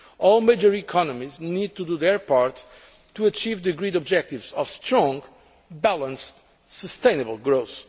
All the major economies need to play their part to achieve the agreed objectives of strong, balanced, sustainable growth.